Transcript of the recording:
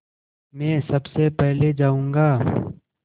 मैं सबसे पहले जाऊँगा